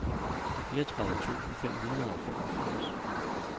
fireogtredive tusind fem hundrede og femogfirs